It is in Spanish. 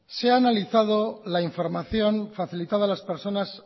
se ha analizado la información facilitada a las personas